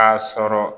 K'a sɔrɔ